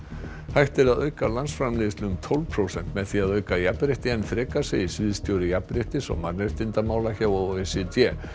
hægt er að auka landsframleiðslu um tólf prósent með því að auka jafnrétti enn frekar segir sviðsstjóri jafnréttis og mannréttindamála hjá o e c d